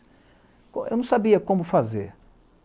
Eu não sabia como fazer.